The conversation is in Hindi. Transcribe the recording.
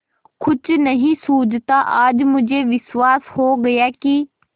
कुछ नहीं सूझता आज मुझे विश्वास हो गया कि